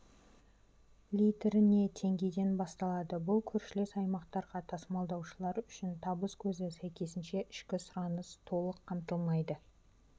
литріне теңгеден басталады бұл көршілес аймақтарға тасымалдаушылар үшін табыс көзі сәйкесінше ішкі сұраныс толық қамтылмайды